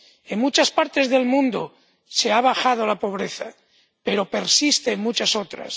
En muchas partes del mundo se ha reducido la pobreza, pero persiste en muchas otras.